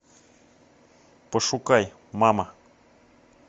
пошукай мама